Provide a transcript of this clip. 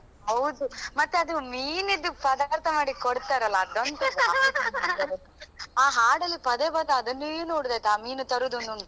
ಹೌದು ಮತ್ತೆ ಅದು ಮೀನಿದು ಪದಾರ್ಥ ಮಾಡಿ ಕೊಡ್ತಾರಲ್ಲ ಅದೊಂದು ಆ ಹಾಡಲ್ಲಿ ಪದ ಬಂದ್ರೆ ಅದನ್ನೇ ನೋಡೋದಾಯ್ತ ಆ ಮೀನು ತರುದನ್ನೊಂದು.